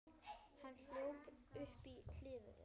Hann hjólaði uppí Hlíðar.